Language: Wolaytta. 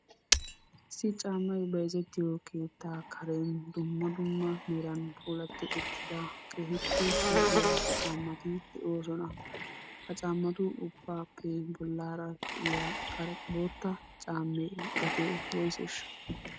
Issi caammay bayzzettiyo keettaa karen dumma dumma meran puulati uttida keekippe lo'iya caammati de'oosona. Ha caammatu ubbaappe bollaara de'iya boottaa cammee gatee woysesha?